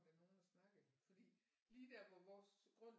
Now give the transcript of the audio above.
Der nogle og snakkede fordi lige der hvor vores grund